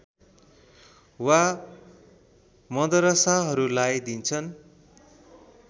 वा मदरसाहरूलाई दिन्छन्